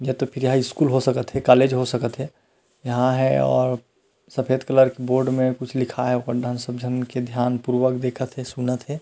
या तो फिर एहा स्कूल हो सकत हे कॉलज हो सकत हे यहाँ हे अउ सफ़ेद कलर के बोर्ड में कुछ लिखा हे ओकर डाहन सब जन ध्यानपूर्वक देखत हे सुनत हे।